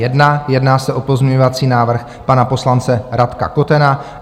Jedná se o pozměňovací návrh pan poslance Radka Kotena.